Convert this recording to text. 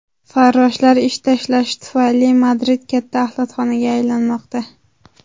Farroshlar ish tashlashi tufayli Madrid katta axlatxonaga aylanmoqda.